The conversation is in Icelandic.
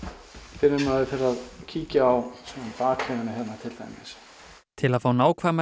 fyrr en maður fer að kíkja á bakhliðina hérna til dæmis til að fá nákvæmar